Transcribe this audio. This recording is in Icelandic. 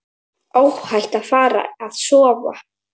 Óhætt að fara að sofa.